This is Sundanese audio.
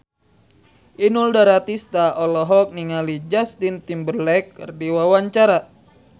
Inul Daratista olohok ningali Justin Timberlake keur diwawancara